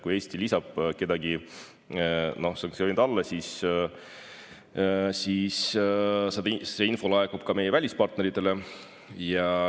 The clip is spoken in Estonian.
Kui Eesti lisab kedagi sanktsioonide alla, siis see info laekub ka meie välispartneritele.